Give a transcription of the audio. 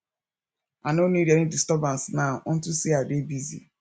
i no need any disturbance now unto say i dey busy